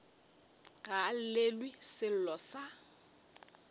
ga a llelwe sello sa